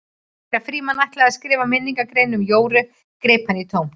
Þegar Frímann ætlaði að skrifa minningargrein um Jóru greip hann í tómt.